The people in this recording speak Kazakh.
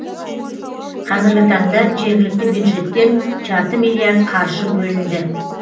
қазіргі таңда жергілікті бюджеттен жарты миллиард қаржы бөлінді